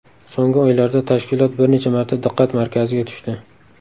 So‘nggi oylarda tashkilot bir necha marta diqqat markaziga tushdi.